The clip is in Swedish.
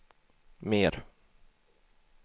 mer